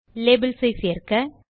labels ஐ சேர்க்க